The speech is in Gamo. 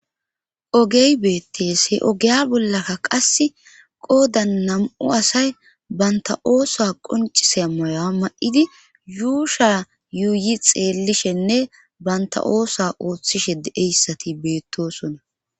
ogey beettees he ogeya bollakka qasse qoodan nam''u asay banta oosa qoncise moya ma'idi yuusha yuuyi xeellishenne banta oosa ooththishe de'iyayssati beettoosona.